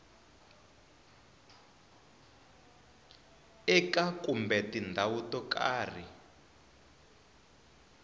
eka kumbe tindhawu to karhi